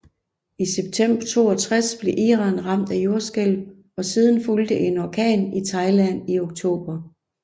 I september 1962 blev Iran ramt af jordskælv og siden fulgte en orkan i Thailand i oktober